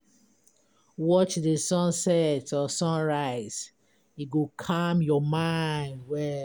Watch the sunset or sunrise, e go calm your mind well.